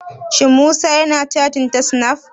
Shin Musa ya na cattin ta snaf?